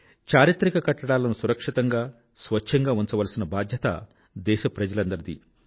చారిత్రక కట్టడాలను సురక్షితంగా స్వచ్ఛంగా ఉంచవలసిన బాధ్యత దేశప్రజలందరిదీ